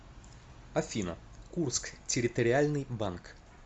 афина курск территориальный банк